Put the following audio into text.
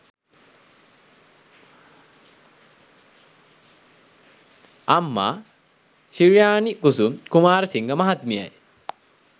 අම්මා ශි්‍රයානි කුසුම් කුමාරසිංහ මහත්මියයි.